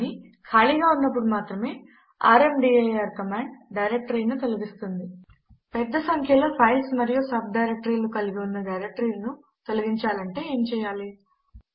కానీ ఖాళీగా ఉన్నప్పుడు మాత్రమే ర్మదీర్ కమాండ్ డైరెక్టరీను తొలగిస్తుంది పెద్ద సంఖ్యలో ఫైల్స్ మరియు సబ్ డైరెక్టరీలు కలిగి ఉన్న డైరెక్టరీను తొలగించాలనుకుంటే ఏమి చెయ్యాలి160